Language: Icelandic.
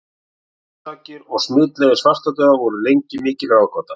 Orsakir og smitleiðir svartadauða voru lengi vel mikil ráðgáta.